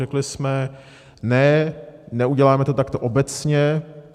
Řekli jsme ne, neuděláme to takto obecně.